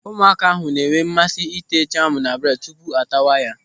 Ụmụaka ahụ na-enwe mmasị ị́tè jamu na bredi tupu a tawa ya.